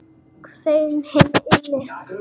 Sveinn hinn illi.